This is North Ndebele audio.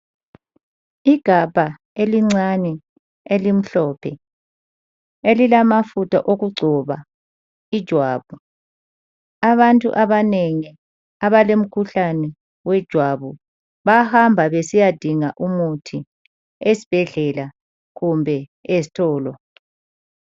Igabha elincane elimhlophe elilamafutha okugcoba ijwabu. Abantu abanengi abalomkhuhlane wejwabu bayahamba besiyadinga umuthi ezibhedlela kumbe ezitolo.